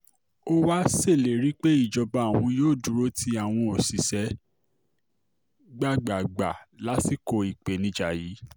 ó wàá ṣèlérí pé ìjọba òun yóò dúró ti àwọn òṣìṣẹ́ gbágbáágbá lásìkò ìpèníjà yìí